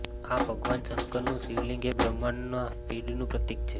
આ ભગવાન શંકરનું શિવલિંગ એ બ્રહ્માંડના પીડનું પ્રતિક છે